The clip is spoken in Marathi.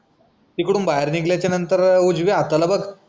तिकडून बाहेर निगल्या नंतर उजव्या हाताला बग